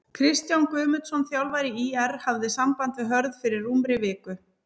Kristján Guðmundsson þjálfari ÍR hafði samband við Hörð fyrir rúmri viku.